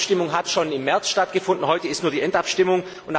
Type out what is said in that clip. Die Abstimmung hat schon im März stattgefunden, heute ist nur die Endabstimmung.